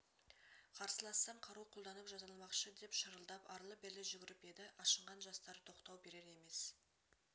қарсылассаң қару қолданып жазаламақшы деп шырылдап арлы-берлі жүгіріп еді ашынған жастар тоқтау берер емес